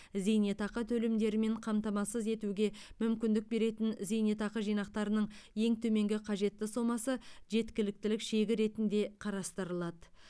зейнетақы төлемдерімен қамтамасыз етуге мүмкіндік беретін зейнетақы жинақтарының ең төменгі қажетті сомасы жеткіліктілік шегі ретінде қарастырылады